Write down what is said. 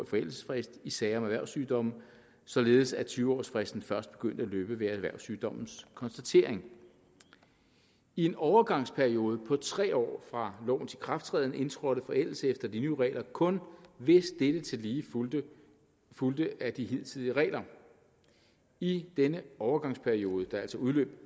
forældelsesfrist i sager med erhvervssygdomme således at tyve års fristen først begyndte at løbe ved erhvervssygdommens konstatering i en overgangsperiode på tre år fra lovens ikrafttræden indtrådte forældelse efter de nye regler kun hvis dette tillige fulgte fulgte af de hidtidige regler i denne overgangsperiode der altså udløb